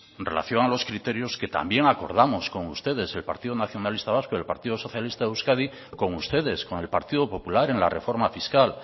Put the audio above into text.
en relación a los criterios que también acordamos con ustedes el partido nacionalista vasco y el partido socialista de euskadi con ustedes con el partido popular en la reforma fiscal